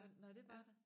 Nåh nåh det var der